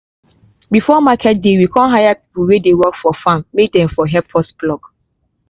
before market day we con hire people wey dey work for farm may dem for help us pluck